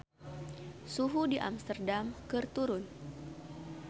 Suhu di Amsterdam keur turun